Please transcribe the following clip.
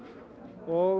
og við